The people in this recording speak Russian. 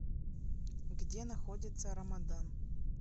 где находится рамадан